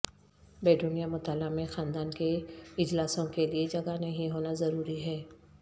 bedroom یا مطالعہ میں خاندان کے اجلاسوں کے لئے جگہ نہیں ہونا ضروری ہے